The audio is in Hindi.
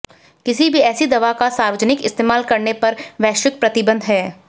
किसी भी ऐसी दवा का सार्वजनिक इस्तेमाल करने पर वैश्विक प्रतिबंध हैं